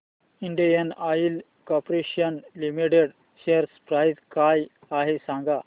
Indian Oil Corporation Limited share price काय आहे सांगा